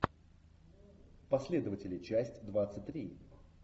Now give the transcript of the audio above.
последователи часть двадцать три